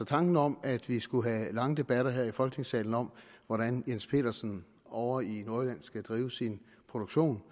tanken om at vi skulle have lange debatter her i folketingssalen om hvordan jens pedersen ovre i nordjylland skal drive sin produktion